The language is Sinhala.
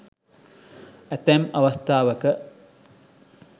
ඇතැම් අවස්ථාවක